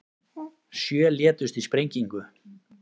Sjö létust í sprengingu